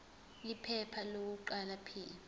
iphepha lokuqala p